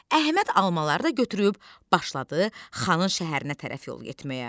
Əhməd almaları da götürüb başladı xanın şəhərinə tərəf yol getməyə.